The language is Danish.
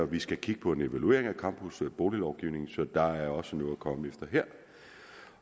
vi skal kigge på en evaluering af campusboliglovgivningen så der er også noget at komme efter her